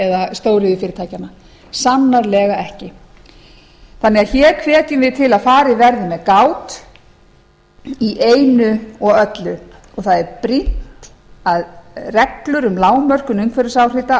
eða stóriðjufyrirtækjanna sannarlega ekki við hvetjum því til að hér verði farið verði með gát í einu og öllu og það er brýnt er að reglur um lágmörkun